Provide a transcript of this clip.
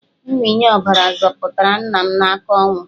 Mmịnye ọbara zọpụtara nna m n'aka ọnwụ.